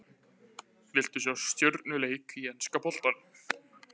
Vilt þú sjá stjörnuleik í enska boltanum?